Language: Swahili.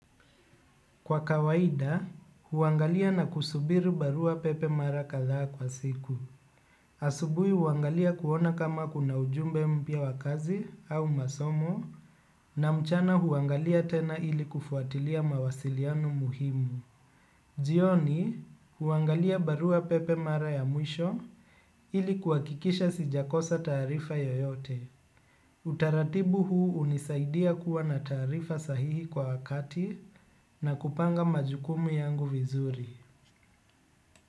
Kwa kawaida huangalia na kusubiri barua pepe mara kadhaa kwa siku. Asubuhi huangalia kuona kama kuna ujumbe mpya wa kazi au masomo na mchana huangalia tena ili kufuatilia mawasiliano muhimu. Jioni, huangalia barua pepe mara ya mwisho ili kuwakikisha sijakosa taarifa yoyote. Utaratibu huu hunisaidia kuwa na taarifa sahihi kwa wakati na kupanga majukumu yangu vizuri.